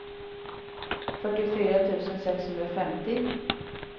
fyrtiofyra tusen sexhundrafemtio